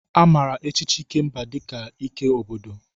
A maara echichi Ikemba dị ka ike obodo.